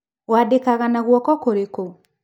Ũandĩkaga na guoko kũrĩkũ?